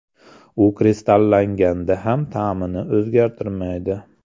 U kristallanganda ham ta’mini o‘zgartirmaydi.